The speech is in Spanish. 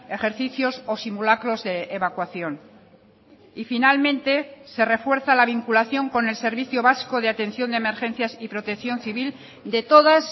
ejercicios o simulacros de evacuación y finalmente se refuerza la vinculación con el servicio vasco de atención de emergencias y protección civil de todas